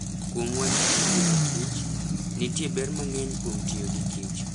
Kuom wach kit ngima kich, nitie ber mang'eny kuom tiyo gi kich.